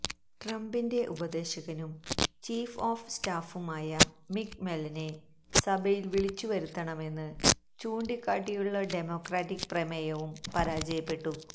ട്രംപിന്റെ ഉപദേശകനും chief of സ്റ്റാഫുമായ മിക് മെല്വനെ സഭയില് വിളിച്ചു വരുത്തണമെന്ന് ചൂണ്ടിക്കാട്ടിയുള്ള ഡെമോക്രാറ്റിക് പ്രമേയവും പരാജയപ്പെട്ടു